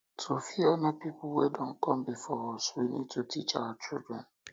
to fit honor pipo wey don come before us us we need to teach our children